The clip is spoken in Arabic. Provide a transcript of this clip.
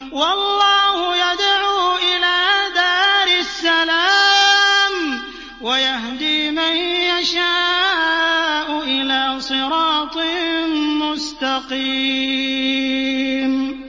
وَاللَّهُ يَدْعُو إِلَىٰ دَارِ السَّلَامِ وَيَهْدِي مَن يَشَاءُ إِلَىٰ صِرَاطٍ مُّسْتَقِيمٍ